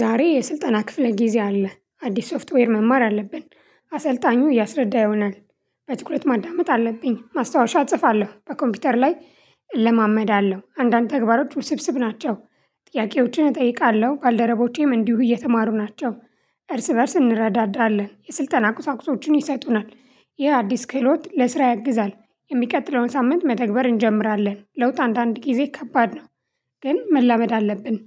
ዛሬ የስልጠና ክፍለ ጊዜ አለ አዲስ ሶፍትዌር መማር አለብን አሰልጣኙ እያስረዳ ይሆናል በትኩረት ማዳመጥ አለብኝ ማስታወሻ እጽፋለሁ በኮምፒውተር ላይ። እለማመዳለሁ አንዳንድ ተግባሮች ውስብስብ ናቸው። ጥያቄዎችን እጠይቃለሁ ባልደረቦቼም እንዲሁ እየተማሩ ናቸው። እርስ በእርስ እንረዳዳለን የስልጠና ቁሳቁሶችን ይሰጡናል ይህ አዲስ ክህሎት ለስራ ያግዛል። የሚቀጥለውን ሳምንት መተግበር እንጀምራለን ለውጥ አንዳንድ ጊዜ ከባድ ነው። ግን መላመድ አለብን።